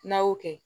N'a y'o kɛ